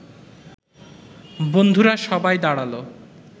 বন্ধুরা সবাই দাঁড়াল